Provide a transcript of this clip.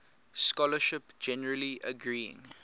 scholarship generally agreeing